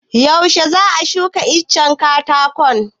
Yuashe za a shuka itacen katakon?